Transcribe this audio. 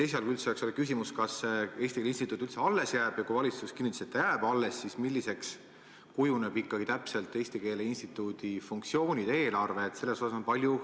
Esialgu oli küsimus, kas Eesti Keele Instituut üldse alles jääb, ja kui valitsus kinnitas, et ta jääb alles, siis milliseks kujunevad ikkagi täpselt Eesti Keele Instituudi funktsioonid ja eelarve.